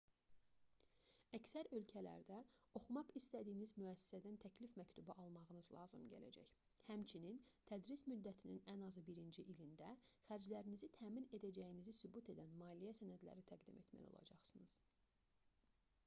əksər ölkələrdə oxumaq istədiyiniz müəssisədən təklif məktubu almağınız lazım gələcək həmçinin tədris müddətinin ən azı birinci ilində xərclərinizi təmin edəcəyinizi sübut edən maliyyə sənədləri təqdim etməli olacaqsınız